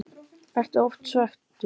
Ertu oft svekktur?